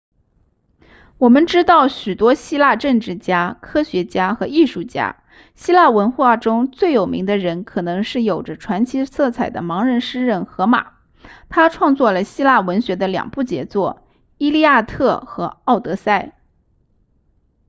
我们知道许多希腊政治家科学家和艺术家希腊文化中最有名的人可能是有着传奇色彩的盲人诗人荷马他创作了希腊文学的两部杰作伊利亚特和奥德赛